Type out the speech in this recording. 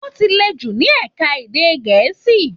Wọ́n ti le jù ní ẹ̀ka èdè Gẹ̀ẹ́sì.